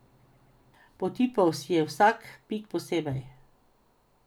Potipal si je vsak pik posebej.